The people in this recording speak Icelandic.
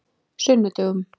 sunnudögum